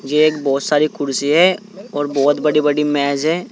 ये एक बहोत सारी कुर्सी है और बहोत बड़ी बड़ी मेज है।